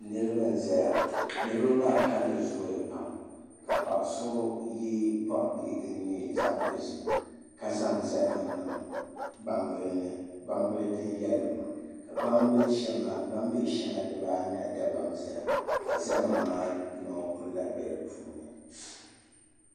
Niraba n ʒɛya niraba maa kanli zooya pam ka paɣa so yɛ boɣa bihi din nyɛ zaɣ dozim ka zaŋ zahama niŋ gbambili ni gbambili din yɛlimma ka gbambili shɛŋa dibaanahi dabam ʒɛya ka zahama maa noo kuli lahi bɛ di puuni